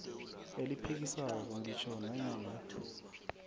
eliphikisako ngitjho nanyana